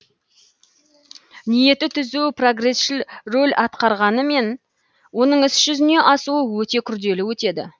ниеті түзу прогресшіл рөл атқарғанымен оның іс жүзіне асуы өте күрделі өтеді